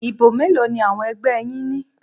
Ìbò mélòó ni àwọn ẹgbẹ́ yín ní?